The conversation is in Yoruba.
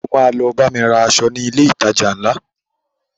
O ma lọ bámi ra aṣọ ní ilé ìtajà ńlá